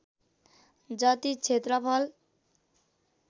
जति क्षेत्रफल